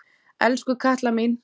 Elsku Katla mín.